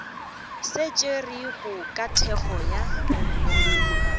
se tšerwego ka thekgo ya